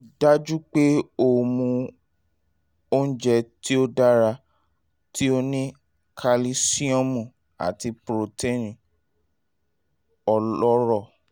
rii daju pe o mu ounjẹ ti o dara ti o ni kalisiomu ati protein ọlọrọ